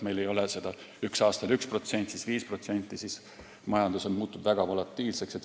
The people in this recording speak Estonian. Kui ühel aastal on 1%, siis 5%, siis majandus muutub väga volatiilseks.